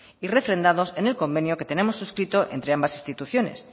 y refrendados en el convenio que tenemos suscrito entre ambas instituciones